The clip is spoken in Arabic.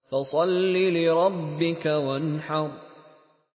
فَصَلِّ لِرَبِّكَ وَانْحَرْ